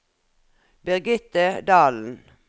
Birgitte Dahlen